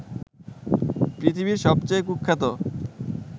পৃথিবীর সবচেয়ে কুখ্যাত